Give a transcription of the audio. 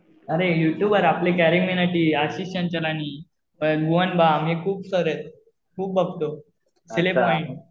अरे YouTuber आपली CarryMinati Ashish Chanchal आणि भुवन बाम हे खूप सर आहेत. खूप बघतो. Celeb mind.